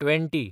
twenty